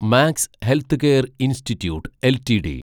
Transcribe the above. max healthcare institute LTD